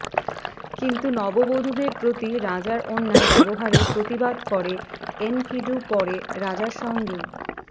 কিন্তু নববধূদের প্রতি রাজার অন্যায় ব্যবহারের প্রতিবাদ করে এনকিডু পরে রাজার সঙ্গেই